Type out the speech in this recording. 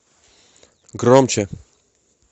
громче